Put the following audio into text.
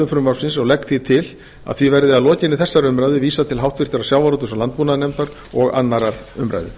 frumvarpsins og legg því til að því verði að lokinni þessari umræðu vísað til háttvirtrar sjávarútvegs og landbúnaðarnefndar og annarrar umræðu